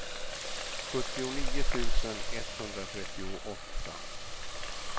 sjuttionio tusen etthundratrettioåtta